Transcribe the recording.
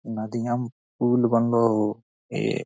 नदियां मे पूल बनलों हो ए।